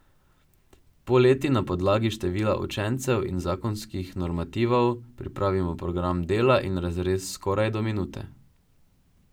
Poleti na podlagi števila učencev in zakonskih normativov pripravimo program dela in razrez skoraj do minute.